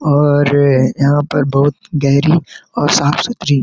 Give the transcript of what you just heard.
और यहाँ पर बहुत गहरी और साफ़ सुथरी-- .